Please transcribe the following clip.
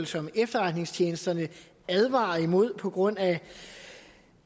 som efterretningstjenesterne advarer imod på grund af